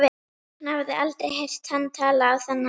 Hún hafði aldrei heyrt hann tala á þennan hátt.